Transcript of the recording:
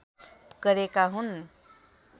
गरेका हुन्